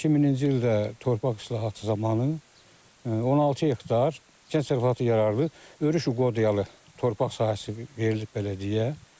2000-ci ildə torpaq islahatı zamanı 16 hektar kənd təsərrüfatı yararlı örüş əqdiyalı torpaq sahəsi verilib bələdiyyəyə.